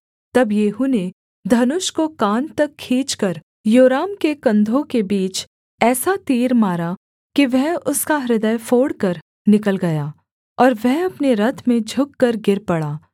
तब येहू ने धनुष को कान तक खींचकर योराम के कंधों के बीच ऐसा तीर मारा कि वह उसका हृदय फोड़कर निकल गया और वह अपने रथ में झुककर गिर पड़ा